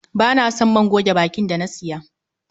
Ba na son man goge bakin da na siya.